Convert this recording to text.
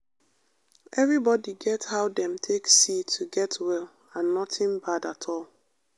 everybody get how dem take see to get well and nothing bad at all.